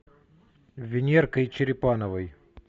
венеркой черепановой